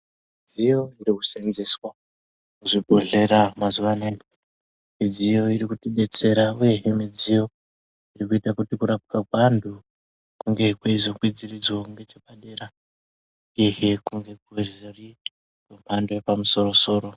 Midziyo irikuseenzeswa muzvibhehlera mazuva anaya midziyo irikutidetsera uyehe midziyo irikuita kuti kurapwa kweantu kunge kweizokwidziridzwawo nechepadera uyehe kwemhando yepamusoro-soro.